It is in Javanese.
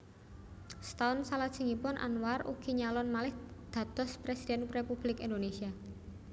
Setaun salajengipun Anwar ugi nyalon malih dados Presiden Republik Indonesia